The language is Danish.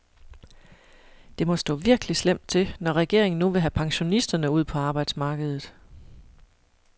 Det må stå virkelig slemt til, når regeringen nu vil have pensionisterne ud på arbejdsmarkedet.